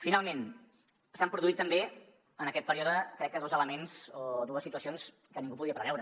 finalment s’han produït també en aquest període crec que dos elements o dues situacions que ningú podia preveure